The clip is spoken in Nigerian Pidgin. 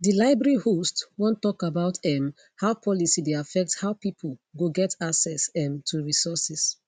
di library host one tok about um how policy dey affect how pipu go get access um to resources